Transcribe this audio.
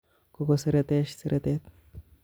Kokoseretech seretet